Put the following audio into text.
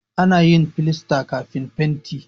Ana yin filasta kafin fenti.